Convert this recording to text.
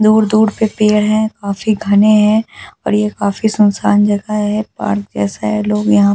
दूर-दूर पे पेड़ है काफी घने है और ये काफी सुनसान जगह है पार्क जैसा है लोग यहां पे घूमने--